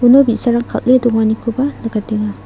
uno bi·sarang kal·e donganikoba nikatenga.